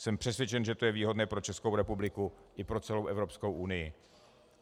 Jsem přesvědčen, že to je výhodné pro Českou republiku i pro celou Evropskou unii.